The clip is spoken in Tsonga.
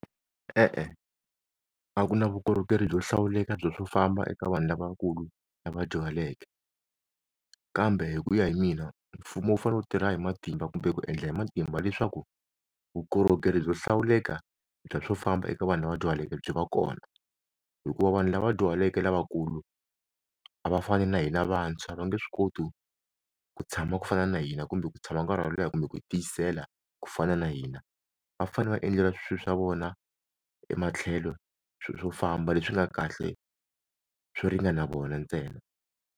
E-e, a ku na vukorhokeri byo hlawuleka bya swo famba eka vanhu lavakulu lava dyuhaleke kambe hi ku ya hi mina mfumo wu fane wu tirha hi matimba kumbe ku endla hi matimba leswaku vukorhokeri byo hlawuleka bya swo famba eka vanhu lava dyahaleke byi va kona hikuva vanhu lava dyuhaleke lavakulu a va fani na hina vantshwa va nge swi koti ku tshama ku fana na hi hina kumbe ku tshama nkarhi wo leha kumbe ku tiyisela ku fana na hina va fane va endlela swilo swa vona ematlhelo swo famba leswi nga kahle swo ringana vona ntsena.